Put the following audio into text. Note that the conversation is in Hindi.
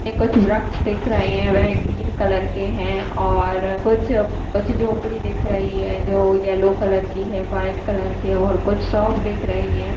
ये कुछ वृक्ष दिख रही है वह ग्रीन कलर के है और कुछ कुछ झोपड़ी दिख रही है जो येल्लो कलर की है व्हाइट कलर के है और कुछ शॉप दिख रही है|